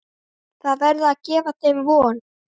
Það verður að gefa þeim von.